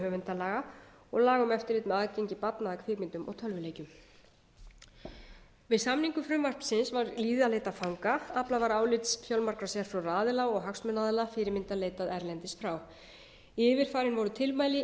höfundalaga og laga um eftirlit með aðgengi barna að kvikmyndum og tölvuleikjum við samningu frumvarpsins var víða leitað fanga aflað var álits fjölmargra sérfróðra aðila og hagsmunaaðila og fyrirmynda leitað erlendis frá yfirfarin voru tilmæli